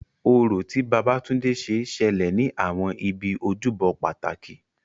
Orò, tí Babatunde ṣe, ṣẹlẹ̀ ní àwọn ibi ojúbọ pàtàkì.